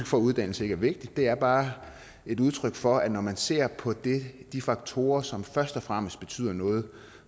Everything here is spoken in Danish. for at uddannelse ikke er vigtigt det er bare et udtryk for at når man ser på de faktorer som først og fremmest betyder noget